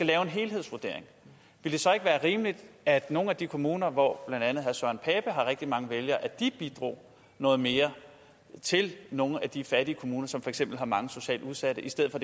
lave en helhedsvurdering vil det så ikke være rimeligt at nogle af de kommuner hvor blandt andet herre søren pape poulsen har rigtig mange vælgere bidrog noget mere til nogle af de fattige kommuner som for eksempel har mange socialt udsatte i stedet for